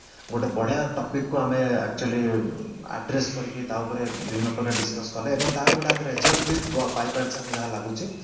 ଗୋଟେ ବଢିଆ topic କୁ ଆମେ actually address କରିକି ତା ଉପରେ ବିଭିନ୍ନ ପ୍ରକାର discus କଲେ ଏବଂ ତାର ଗେଟେ ଆମେ result ବି ପାଇପରିଛେ ଆମେ ଯାହା ଲାଗୁଛି